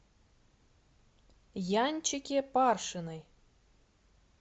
янчике паршиной